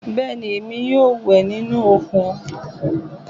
Bẹ́ẹ̀ni, èmi yóò wẹ̀ nínú òkun